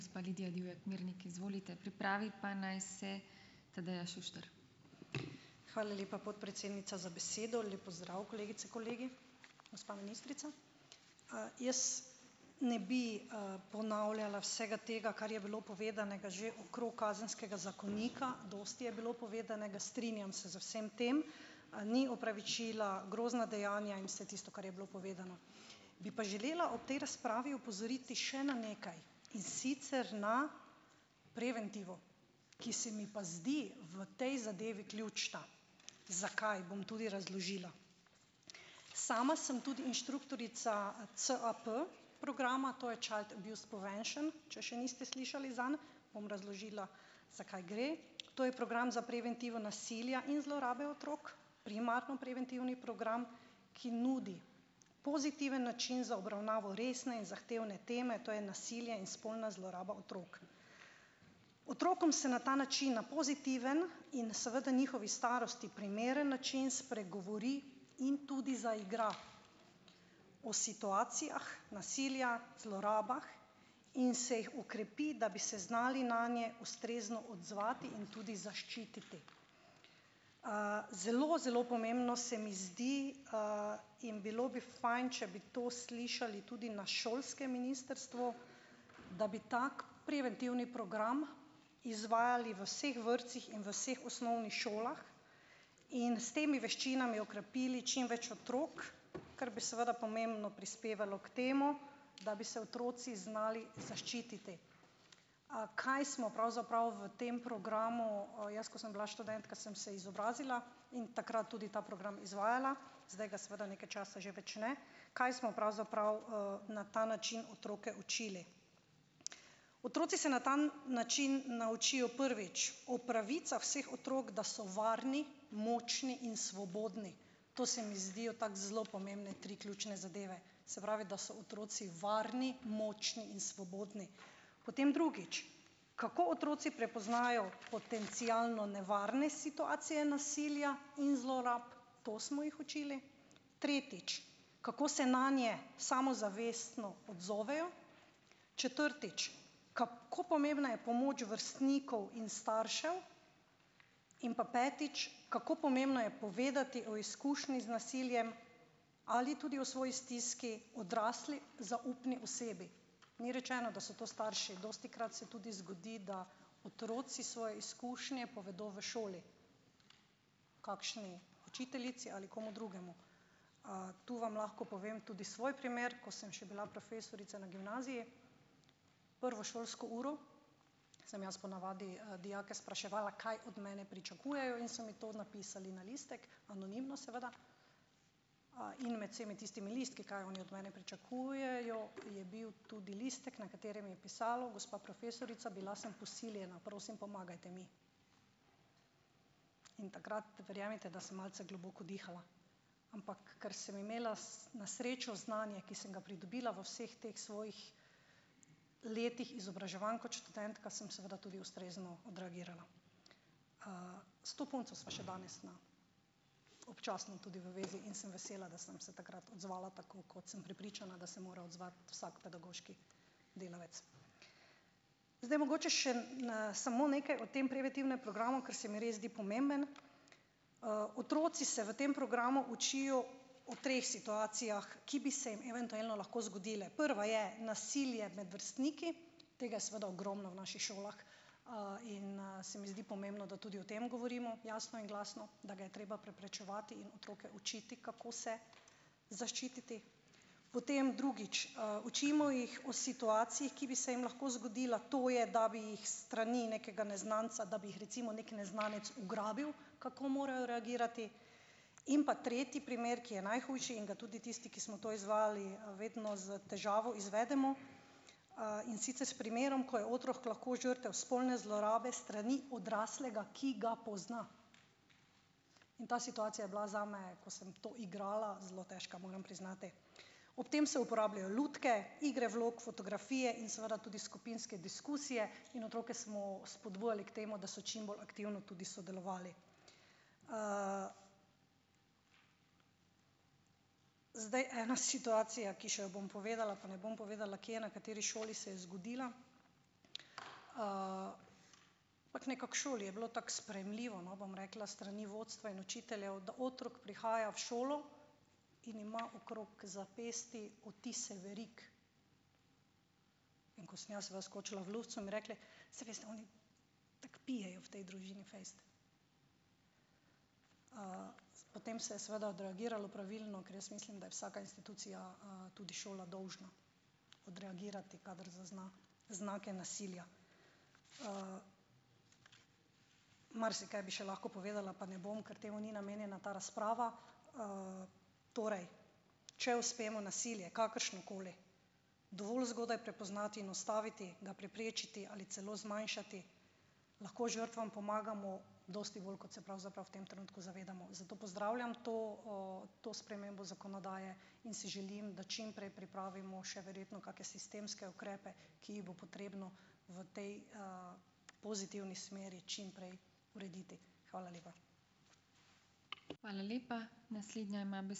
Hvala lepa, podpredsednica za besedo. Lep pozdrav kolegice, kolegi, gospa ministrica. Jaz ne bi, ponavljala vsega tega, kar je bilo povedanega že okrog Kazenskega zakonika, dosti je bilo povedanega. Strinjam se z vsem tem. Ni opravičila, grozna dejanja in vse tisto, kar je bilo povedano. Bi pa želela ob tej razpravi opozoriti še na nekaj, in sicer na preventivo, ki se mi pa zdi v tej zadevi ključna. Zakaj? Bom tudi razložila. Sama sem tudi inštruktorica CAP- programa, to je Child Abuse Prevention, če še niste slišali zanj. Bom razložila, zakaj gre. To je program za preventivo nasilja in zlorabe otrok, primarno preventivni program, ki nudi pozitiven način za obravnavo resne in zahtevne teme, to je nasilje in spolna zloraba otrok. Otrokom se na ta način na pozitiven in seveda njihovi starosti primeren način spregovori in tudi zaigra o situacijah nasilja, zlorabah in se jih okrepi, da bi se znali nanje ustrezno odzvati in tudi zaščititi. zelo zelo pomembno se mi zdi, in bilo bi fajn, če bi to slišati tudi na šolskem ministrstvu, da bi tak preventivni program izvajali v vseh vrtcih in v vseh osnovnih šolah in s temi veščinami okrepili čim več otrok, kar bi seveda pomembno prispevalo k temu, da bi se otroci znali zaščititi. Kaj smo pravzaprav v tem programu, jaz, ko sem bila študentka, sem se izobrazila in takrat tudi ta program izvajala. Zdaj ga seveda nekaj časa že več ne. Kaj smo pravzaprav, na ta način otroke učili? Otroci se na ta način naučijo, prvič, o pravicah vseh otrok, da so varni, močni in svobodni. To se mi zdijo, tako zelo pomembne tri ključne zadeve. Se pravi, da so otroci varni, močni in svobodni. Potem drugič, kako otroci prepoznajo potencialno nevarna situacije nasilja in zlorab, to smo jih učili. Tretjič, kako se nanje samozavestno odzovejo. Četrtič, kako pomembna je pomoč vrstnikov in staršev. In pa petič, kako pomembno je povedati o izkušnji z nasiljem ali tudi o svoji stiski, odrasli zaupni osebi. Ni rečeno, da so to starši. Dostikrat se tudi zgodi, da otroci svoje izkušnje povedo v šoli, kakšni učiteljici ali komu drugemu. To vam lahko povem tudi svoj primer, ko sem še bila profesorica na gimnaziji. Prvo šolsko uro sem jaz po navadi, dijake spraševala, kaj od mene pričakujejo, in so mi to napisali na listek, anonimno, seveda, in med vsemi tistimi listki, kaj oni od mene pričakujejo, je bil tudi listek, na katerem je pisalo: "Gospa profesorica, bila sem posiljena. Prosim, pomagajte mi!" In takrat, verjemite, da sem malce globoko dihala. Ampak ker sem imela na srečo znanje, ki sem ga pridobila v vseh teh svojih letih izobraževanj kot študentka, sem seveda tudi ustrezno odreagirala. S to punco sva še danes na občasno tudi v zvezi in sem vesela, da sem se takrat odzvala tako, kot, sem prepričana, da se mora odzvati vsak pedagoški delavec. Zdaj, mogoče še samo nekaj o tem preventivnem programu, ker se mi res zdi pomemben. Otroci se v tem programu učijo o treh situacijah, ki bi se jim eventualno lahko zgodile. Prva je, nasilje med vrstniki, tega je seveda ogromno v naših šolah, in, se mi zdi pomembno, da tudi o tem govorimo jasno in glasno, da ga je treba preprečevati in otroke učiti, kako se zaščititi. Potem drugič, učimo jih o situacijah, ki bi se jim lahko zgodile, to je, da bi jih s strani nekega neznanca, da bi jih recimo neki neznanec ugrabil, kako morajo reagirati. In pa tretji primer, ki je najhujši in ga tudi tisti, ki smo to izvajali, vedno s težavo izvedemo, in sicer s primerom, ko je otrok lahko žrtev spolne zlorabe s strani odraslega, ki ga pozna. In ta situacija je bila zame, ko sem to igrala, zelo težka, moram priznati. Ob tem se uporabljajo lutke, igre vlog, fotografije in seveda tudi skupinske diskusije. In otroke smo spodbujali k temu, da so čim bolj aktivno tudi sodelovali. Zdaj, ena situacija, ki še jo bom povedala, pa ne bom povedala, kje, na kateri šoli se je zgodila. nekako v šoli je bilo tako sprejemljivo, no, bom rekla, s strani vodstva in učiteljev, da otrok prihaja v šolo in ima okrog zapestij odtise verig. In ko sem jaz skočila v luft, so mi rekli, saj veste, oni tako pijejo v tej družini fejst. Potem se je seveda odreagiralo pravilno, ker jaz mislim, da je vsaka institucija, tudi šola, dolžna odreagirati, kadar zazna znake nasilja. Marsikaj bi še lahko povedala, pa ne bom, ker temu ni namenjena ta razprava. Torej, če uspemo nasilje, kakršnokoli, dovolj zgodaj prepoznati in ustaviti, ga preprečiti ali celo zmanjšati, lahko žrtvam pomagamo dosti bolj, kot se pravzaprav v tem trenutku zavedamo. Zato pozdravljam to, to spremembo zakonodaje in si želim, da čim prej pripravimo še verjetno kake sistemske ukrepe, ki jih bo potrebno v tej, pozitivni smeri čim prej urediti. Hvala lepa.